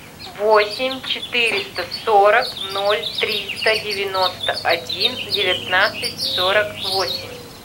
восемь четыреста сорок ноль триста девяносто один девятнадцать сорок восемь